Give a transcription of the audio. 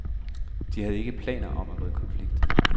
De har ikke planer om at gå i konflikt.